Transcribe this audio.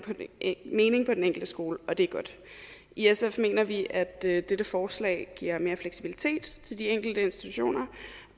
mening på den enkelte skole og det er godt i sf mener vi at dette dette forslag giver mere fleksibilitet til de enkelte institutioner